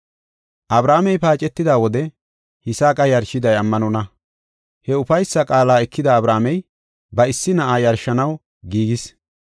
Abrahaamey paacetida wode Yisaaqa yarshiday ammanonna. He ufaysa qaala ekida Abrahaamey ba issi na7aa yarshanaw giigis.